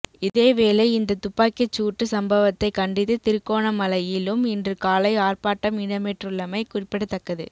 இதேவேளை இந்த துப்பாக்கிச் சூட்டு சம்பவத்தை கண்டித்து திருகோணமலையிலும் இன்று காலை ஆர்ப்பாட்டம் இடம்பெற்றுள்ளமை குறிப்பிடத்தக்கது